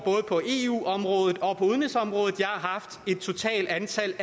på eu området og på udenrigsområdet jeg har haft et totalt antal